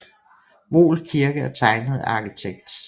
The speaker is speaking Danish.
Voel Kirke er tegnet af arkitekt C